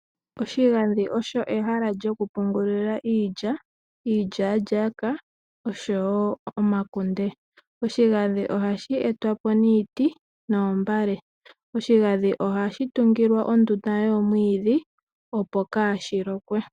Oshigandhi osho ehala lyoku pungulila iilya, iilyalyaaka nosho woo omakunde. Ohashi etwapo niiti nomihwiya. Ohashi kumbilwa okahaka opo kaashi lokwe.